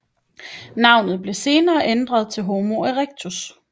Navnet blev senere ændret til Homo erectus